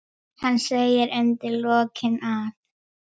Hann segir undir lokin að